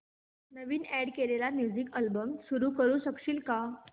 नवीन add केलेला music album सुरू करू शकशील का